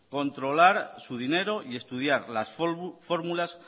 controlar su dinero y estudiar fórmulas